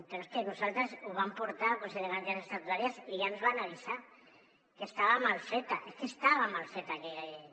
però és que nosaltres ho vam portar al consell de garanties estatutàries i ja ens van avisar que estava mal feta és que estava mal feta aquella llei